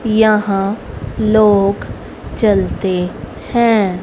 यहां लोग चलते हैं।